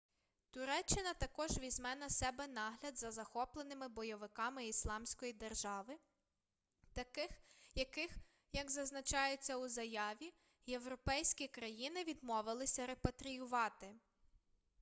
туреччина також візьме на себе нагляд за захопленими бойовиками ісламської держави яких як зазначається у заяві європейські країни відмовилися репатріювати